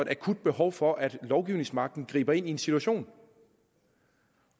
akut behov for at lovgivningsmagten griber ind i en situation